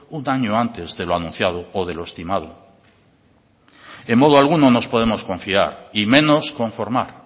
un año antes de lo anunciado o de lo estimado en modo alguno nos podemos confiar y menos conformar